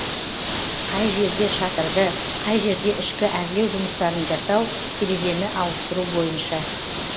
қай жерде шатырды қай жерде ішкі әрлеу жұмыстарын жасау терезені ауыстыру бойынша